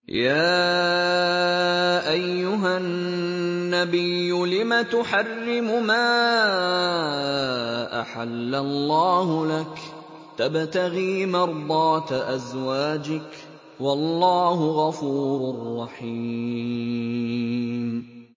يَا أَيُّهَا النَّبِيُّ لِمَ تُحَرِّمُ مَا أَحَلَّ اللَّهُ لَكَ ۖ تَبْتَغِي مَرْضَاتَ أَزْوَاجِكَ ۚ وَاللَّهُ غَفُورٌ رَّحِيمٌ